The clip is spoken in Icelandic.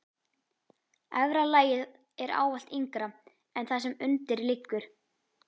Efra lagið er ávallt yngra en það sem undir liggur.